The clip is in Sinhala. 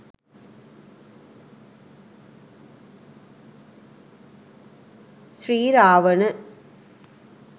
sriravana